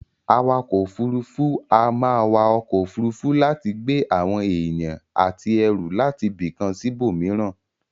Awakò òfurufú a máa wa okò òfurufú láti gbé àwon èyàn àti erù látibìkan síbò míràn